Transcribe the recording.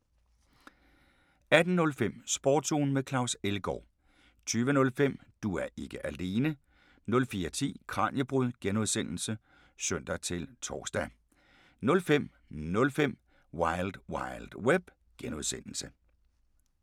18:05: Sportsugen med Claus Elgaard 20:05: Du er ikke alene 04:10: Kraniebrud (G) (søn-tor) 05:05: Wild Wild Web (G)